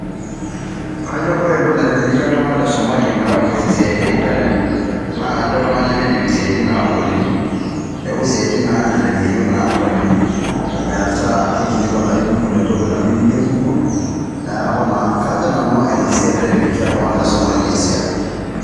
kajo ore entoki naitelekia iltunganak le somali metaa keas esiaai te internet naa kajo ke iltunganak lemeidim isiatin nagoli .niaku isiatin naalelek eyieu natoni metaa kikilikwan ake google entoki nayieu nigerr google niaku naa ina siai naitelekia iltunganak le somalia esiai